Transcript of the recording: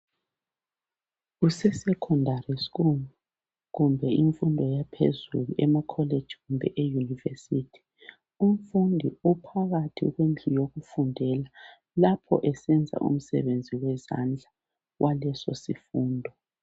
Kusesecondary school kumbe imfundo yaphezulu emakholeji kumbe eyunivesithi . Umfundi uphakathi kwendlu yokufundela lapho esenza umsebenzi wezandla waleso sifundo.